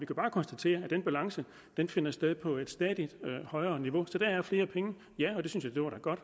kan bare konstatere at den balance finder sted på et stadig højere niveau så der er flere penge ja